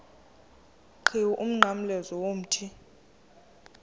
qhiwu umnqamlezo womthi